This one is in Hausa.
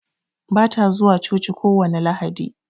Bata zuwa coci kowani Lahadi